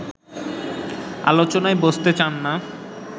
আলোচনায় বসতে চান না